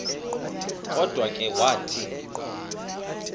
kodwa ke wathi